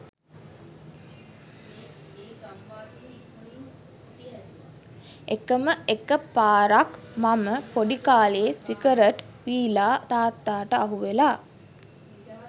එකම එක පාරක් මම පොඩි කාලේ සිගරට් බිලා තාත්තාට අහුවෙලා